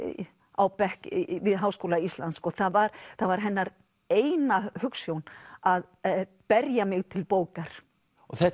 á bekk við Háskóla Íslands það var það var hennar eina hugsjón að berja mig til bókar og þetta